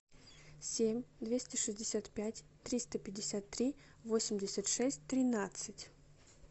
семь двести шестьдесят пять триста пятьдесят три восемьдесят шесть тринадцать